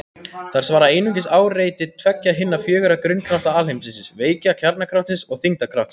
Þær svara einungis áreiti tveggja hinna fjögurra grunnkrafta alheimsins: Veika kjarnakraftsins og þyngdarkraftsins.